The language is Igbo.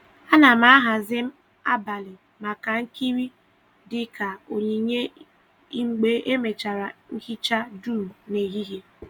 A na m a hazi abalị maka nkiri dị ka onyinye mgbe emechara nhicha dum n’ehihie.